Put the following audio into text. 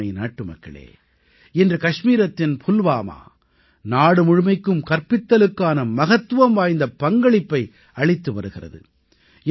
எனதருமை நாட்டுமக்களே இன்று கச்மீரத்தின் புல்வாமா நாடு முழுமைக்கும் கற்பித்தலுக்கான மகத்துவம் வாய்ந்த பங்களிப்பை அளித்து வருகிறது